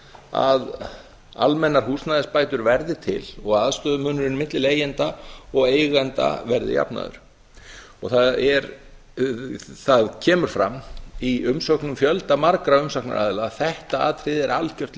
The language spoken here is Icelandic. að almennar húsnæðisbætur verði til og aðstöðumunurinn milli leigjenda og eigenda verði jafnaður það kemur fram í umsögnum fjöldamargra umsagnaraðila að þetta atriði er algjört